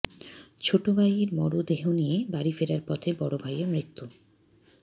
ছোট ভাইয়ের মরদেহ নিয়ে বাড়ি ফেরার পথে বড় ভাইয়ের মৃত্যু